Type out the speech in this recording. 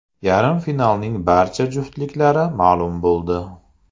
Yarim finalning barcha juftliklari ma’lum bo‘ldi.